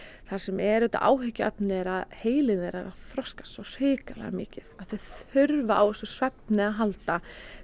það sem er auðvitað áhyggjuefni er að heilinn þeirra þroskast svo hrikalega mikið að þau þurfa á þessum svefni að halda